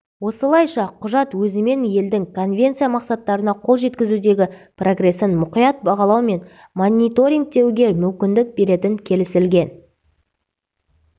осылайша құжат өзімен елдің конвенция мақсаттарына қол жеткізудегі прогрессін мұқият бағалау мен мониторингтеуге мүмкіндік беретін келісілген